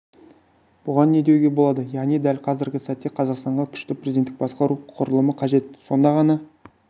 бұған не деуге болады яғни дәл қазіргі сәтте қазақстанға күшті президенттік басқару құрылымы қажет сонда ғана